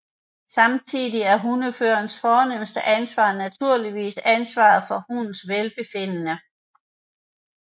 Samtidig er hundeførerens fornemste ansvar naturligvis ansvaret hundens velbefindende